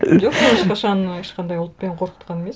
жоқ мені ешқашан ешқандай ұлтпен қорқытқан емес